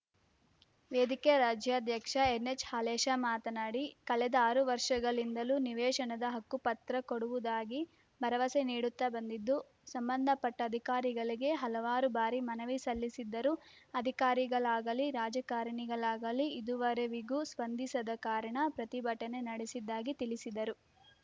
ವೇದಿಕೆ ರಾಜ್ಯಾಧ್ಯಕ್ಷ ಎನ್‌ಎಚ್‌ಹಾಲೇಶ ಮಾತನಾಡಿ ಕಳೆದ ಆರು ವರ್ಷಗಳಿಂದಲೂ ನಿವೇಶನದ ಹಕ್ಕುಪತ್ತ ಕೊಡುವುದಾಗಿ ಭರವಸೆ ನೀಡುತ್ತಾ ಬಂದಿದ್ದು ಸಂಬಂಧ ಪಟ್ಟ ಅಧಿಕಾರಿಗಳಿಗೆ ಹಲವಾರು ಬಾರಿ ಮನವಿ ಸಲ್ಲಿಸಿದ್ದರೂ ಅಧಿಕಾರಿಗಳಾಗಲಿ ರಾಜಕಾರಣಿಗಳಾಗಲೀ ಇದುವರೆವಿಗೂ ಸ್ಪಂದಿಸದ ಕಾರಣ ಪ್ರತಿಭಟನೆ ನಡೆಸಿದ್ದಾಗಿ ತಿಳಿಸಿದರು